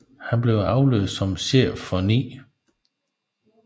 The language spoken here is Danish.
Han blev afløst som chef for 9